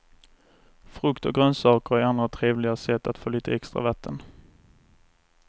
Frukt och grönsaker är andra trevliga sätt att få lite extra vatten.